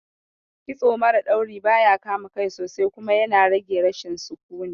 Kitso mara dauri baya kama kai sosai kuma yana rage rashin sukuni